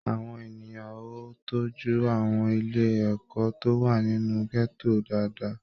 Àwọn ènìyàn o tọjú àwọn ilé ẹ̀kọ́ tó wà nínú gẹto dáadáa.